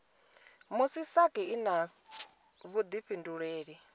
musi sasc i na vhuifhinduleli